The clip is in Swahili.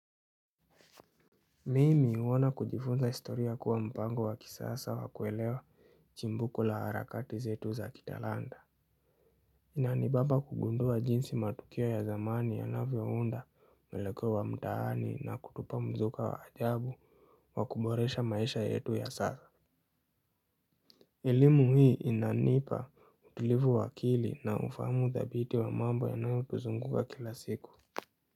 Mimi huona kujifunza historia kuwa mpango wa kisasa wa kuelewa chimbuko la harakati zetu za kitalanta. Inanibamba kugundua jinsi matukio ya zamani yanavyo unda mwelekeo wa mtaani na kutupa mzuka wa ajabu wa kuboresha maisha yetu ya sasa. Elimu hii inanipa utulivu wa akili na ufahamu dhabiti wa mambo yanayo tuzunguka kila siku.